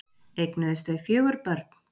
Eignuðust þau fjögur börn.